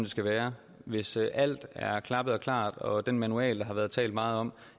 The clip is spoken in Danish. skal være hvis alt er klappet og klart og den manual der har været talt meget om